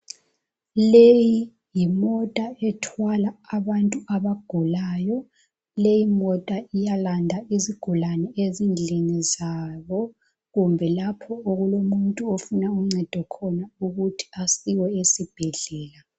Leyi yimota ethwala abantu abagulayo, leyi imota iyalanda izigulane ezindlini zabo kumbe lapho okulomuntu ofuna uncedo khona ukuthi asiwe esibhedlela.